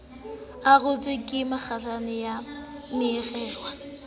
arotswe ka mekgahlelo e meraro